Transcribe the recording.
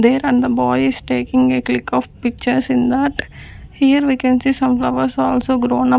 there and the boy is taking a click of pictures in that here we can see some flowers also grown up.